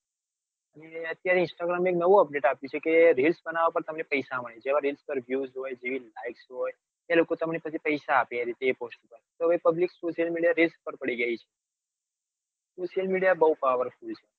અત્યારે instagram પર નવું update આપ્યું reels બનવવા માટે તમને પૈસા મળશે. જેવા reels પર views હોય. જેવી likes હોય. એ લોકો પછી તમને પૈસા આપે એ રીતે એવી post પર તો હવે public social media reels પર પડી ગયી છે. social media બૌ powerful છે.